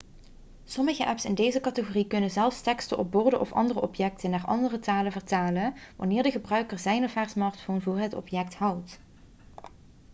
sommige apps in deze categorie kunnen zelfs teksten op borden of andere objecten naar andere talen vertalen wanneer de gebruiker zijn of haar smartphone voor het object houdt